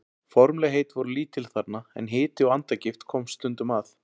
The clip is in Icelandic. Formlegheit voru lítil þarna, en hiti og andagift komst stundum að.